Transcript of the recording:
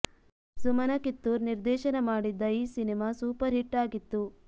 ಸುಮನ ಕಿತ್ತೂರ್ ನಿರ್ದೇಶನ ಮಾಡಿದ್ದ ಈ ಸಿನಿಮಾ ಸೂಪರ್ ಹಿಟ್ ಆಗಿತ್ತು